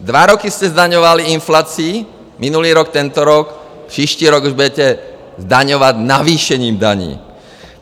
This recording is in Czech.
Dva roky jste zdaňovali inflací, minulý rok, tento rok, příští rok už budete zdaňovat navýšením daní.